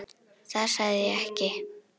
Það sagði ég ekki